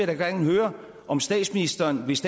da gerne høre om statsministeren hvis